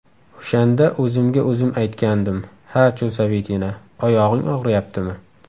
O‘shanda o‘zimga o‘zim aytgandim: ‘Ha, Chusovitina, oyog‘ing og‘riyaptimi?